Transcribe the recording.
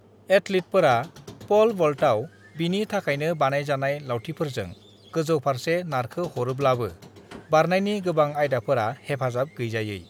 एथलीटफोरा pole वल्टआव बिनि थाखायनो बानायजानाय लावथिफोरजों गोजौफारसे नारखो हरोब्लाबो बारनायनि गोबां आयदाफोरा हेफाजाब गैजायै।